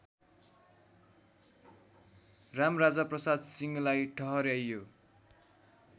रामराजाप्रसाद सिंहलाई ठहर्‍याइयो